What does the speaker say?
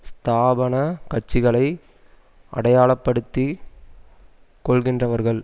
ஸ்தாபன கட்சிகளை அடையாளப்படுத்திக் கொள்கின்றவர்கள்